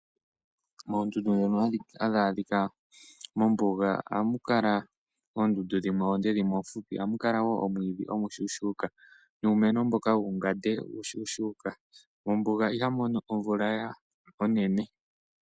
Moondundu ndhono hadhi adhi adhika mombuga ohamukala oondundu dhimwe oonde dhimwe oofupi, ohamu kala woo omwiidhi omushuushuka nuumeno mboka wuungande uushushuka ,mombuga ihamu mono omvula onene.